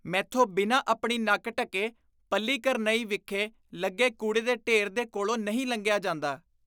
ਮੈਥੋਂ ਬਿਨਾਂ ਆਪਣੀ ਨੱਕ ਢੱਕੇ ਪੱਲੀਕਰਨਈ ਵਿਖੇ ਲੱਗੇ ਕੂੜੇ ਦੇ ਢੇਰ ਦੇ ਕੋਲੋਂ ਨਹੀਂ ਲੰਘਿਆ ਜਾਂਦਾ।